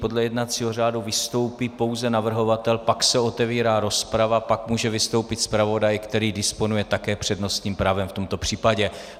Podle jednacího řádu vystoupí pouze navrhovatel, pak se otevírá rozprava, pak může vystoupit zpravodaj, který disponuje také přednostním právem v tomto případě.